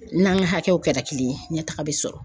N'an ka hakɛw kɛra kelen ye ɲɛtaga bi sɔrɔ.